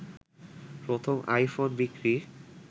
প্রথম আইফোন বিক্রি